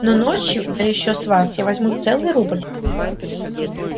но ночью да ещё с вас я возьму целый рубль